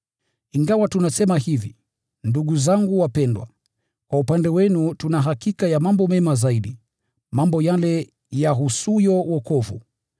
Ingawa tunasema hivi, ndugu zangu wapendwa, kwa upande wenu tuna hakika ya mambo mema zaidi, mambo yale yahusuyo wokovu.